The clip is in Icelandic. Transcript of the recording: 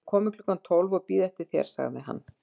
Ég verð kominn klukkan tólf og bíð eftir þér sagði hann.